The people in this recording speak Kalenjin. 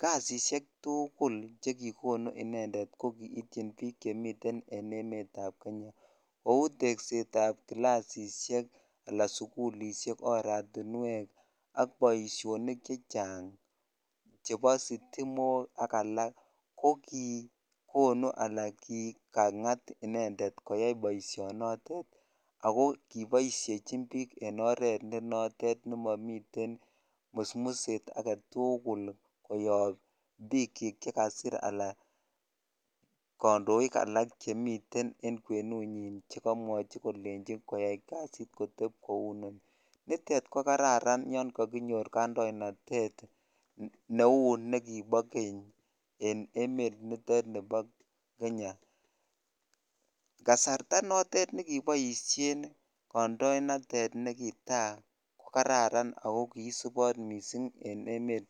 kasisiek tugul chekonu inendet kokiitin bik Chemiten en emoni Nebo Kenya Kou tegset ab kilasishek anan sugulishek oratinwek ak Baishonik chechang Cheba sitimok ak alak kokikonu Alan anan kongat inendet koyai baishoni ako kibaishejin bik en oret NE notet nemami musmuset agetugul koyab bik chik chekasir anan kandoik alak Chemiten en kwenunuin akomwachi kolenji koteb kounoni nitet kokararan yangaginyir kandoinatet Neu Niko Keny en emet nitet Nebo Kenya kasarta notet nekibaishen kandoenatet kararan akokararan mising en emet